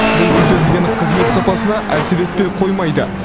бұл көрсетілетін қызмет сапасына әсер етпей қоймайды